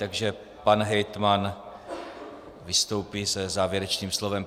Takže pan hejtman vystoupí se závěrečným slovem.